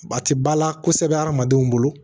Ba ti bala kosɛbɛ hadamadenw bolo